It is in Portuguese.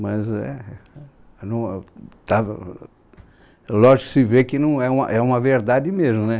Mas é, eu não, eu estava... Lógico que se vê que não é uma é uma verdade mesmo, né?